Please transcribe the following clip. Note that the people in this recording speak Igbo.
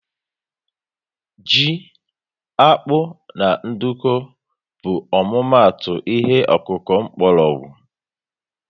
Ji, akpu na nduku bu ọmụma atụ ihe okuku mkpórógwu